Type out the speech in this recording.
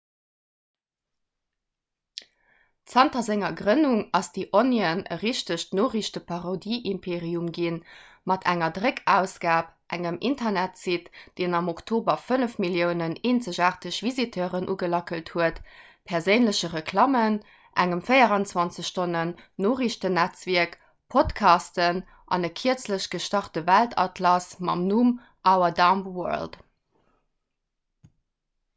zanter senger grënnung ass the onion e richtegt noriichteparodieimperium ginn mat enger dréckausgab engem internetsite – deen am oktober 5 000 000 eenzegaarteg visiteuren ugelackelt huet perséinleche reklammen engem 24-stonnen-noriichtennetzwierk podcasten an e kierzlech gestarte weltatlas mam numm our dumb world